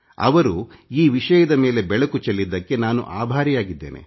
ಅವರು ಈ ವಿಷಯದ ಮೇಲೆ ಬೆಳಕು ಚೆಲ್ಲಿದ್ದಕ್ಕೆ ನಾನು ಆಭಾರಿಯಾಗಿದ್ದೇನೆ